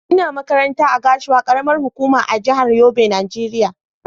Ina makaranta a Gashua, karamar hukuma a jihar Yobe Nigeria.